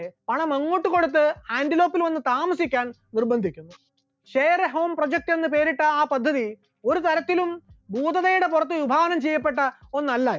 പണം അങ്ങോട്ട് കൊടുത്ത് ആന്റിലോക്കിൽ വന്ന് താമസിക്കാൻ നിർബന്ധിക്കുന്നു, share home project എന്ന് പേരിട്ട ആ പദ്ധതി ഒരു തരത്തിലും പൂതനയുടെ പുറത്ത് വിഭാവനം ചെയ്യപ്പെട്ട ഒന്നല്ല അത്